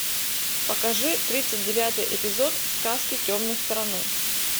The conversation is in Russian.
покажи тридцать девятый эпизод сказки темной стороны